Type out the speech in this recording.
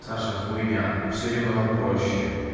саша хуйня всё немного проще